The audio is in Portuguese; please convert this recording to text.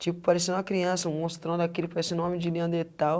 Tipo, parecendo uma criança, um monstrão daquele, parecendo um homem de neanderthal.